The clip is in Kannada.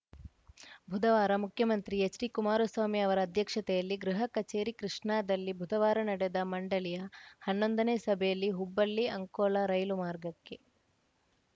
ಬುಧವಾರ ಮುಖ್ಯಮಂತ್ರಿ ಎಚ್‌ಡಿಕುಮಾರಸ್ವಾಮಿ ಅವರ ಅಧ್ಯಕ್ಷತೆಯಲ್ಲಿ ಗೃಹ ಕಚೇರಿ ಕೃಷ್ಣಾದಲ್ಲಿ ಬುಧವಾರ ನಡೆದ ಮಂಡಳಿಯ ಹನ್ನೊಂದನೇ ಸಭೆಯಲ್ಲಿ ಹುಬ್ಬಳ್ಳಿಅಂಕೋಲ ರೈಲು ಮಾರ್ಗಕ್ಕೆ